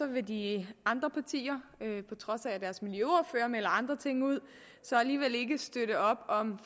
vil de andre partier på trods af at melder andre ting ud alligevel ikke støtte op om